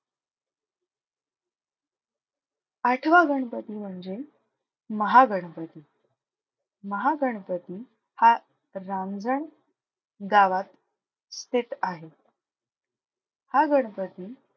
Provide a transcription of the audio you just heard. आठवा गणपती म्हणजे महागणपती. महागणपती हा रांजण गावात स्थित आहे. हा गणपती,